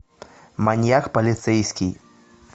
маньяк полицейский